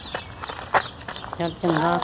ਚਲ ਚੰਗਾ ਕੇ